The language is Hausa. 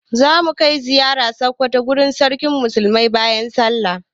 Za mu kai ziyara Sokoto wurin Sarkin Musulmi bayan sallah.